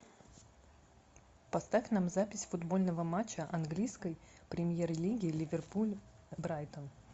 поставь нам запись футбольного матча английской премьер лиги ливерпуль брайтон